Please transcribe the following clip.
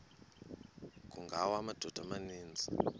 kungawa amadoda amaninzi